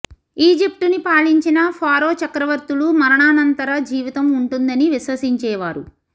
ఈజిప్టుని పాలించిన ఫారో చక్రవర్తులు మరణానంతర జీవితం ఉంటుందని విశ్వసించేవారు